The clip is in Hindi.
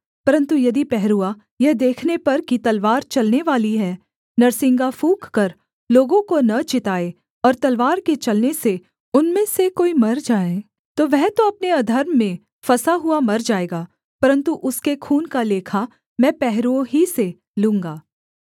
परन्तु यदि पहरुआ यह देखने पर कि तलवार चलने वाली है नरसिंगा फूँककर लोगों को न चिताए और तलवार के चलने से उनमें से कोई मर जाए तो वह तो अपने अधर्म में फँसा हुआ मर जाएगा परन्तु उसके खून का लेखा मैं पहरुए ही से लूँगा